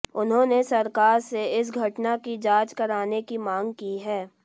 उन्होंने सरकार से इस घटना की जांच कराने की मांग की है